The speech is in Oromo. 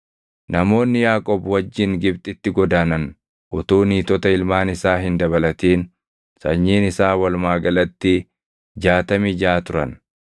Namoonni Yaaqoob wajjin Gibxitti godaanan utuu niitota ilmaan isaa hin dabalatin sanyiin isaa walumaa galatti jaatamii jaʼa turan.